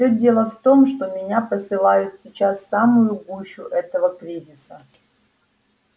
всё дело в том что меня посылают сейчас в самую гущу этого кризиса